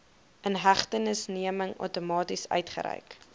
inhegtenisneming outomaties uitgereik